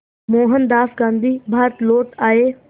मोहनदास गांधी भारत लौट आए